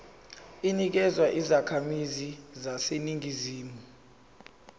inikezwa izakhamizi zaseningizimu